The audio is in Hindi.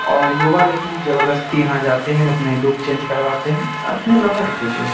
और युवा लेकिन जबरदस्ती यहाँ जाते हैं अपने लुक चेंज करवाते हैं अपने लवर के लिए।